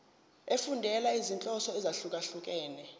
efundela izinhloso ezahlukehlukene